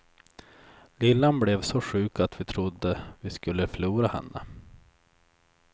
Lillan blev så sjuk att vi trodde vi skulle förlora henne.